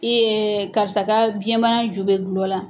karisa ka biyɛnbana ju bɛ gulɔ la.